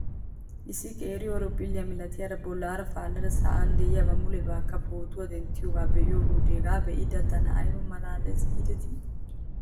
Issi qeeri horophphile malatiyaara bolaara paalada sa'an de'iyaabaa mulebaakka pootuwaa denttiyoogaa be'iyoo wodiyan hegaa be'iyoode tana ayba malaales giidetii ?